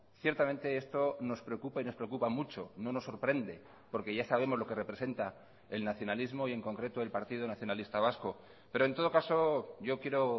ciertamente esto nos preocupa y nos preocupa mucho no nos sorprende porque ya sabemos lo que representa el nacionalismo y en concreto el partido nacionalista vasco pero en todo caso yo quiero